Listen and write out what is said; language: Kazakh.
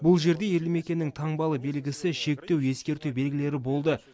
бұл жерде елді мекеннің таңбалы белгісі шектеу ескерту белгілері болды